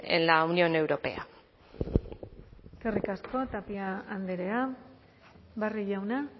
en la unión europea eskerrik asko tapia andrea barrio jauna